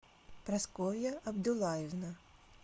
прасковья абдуллаевна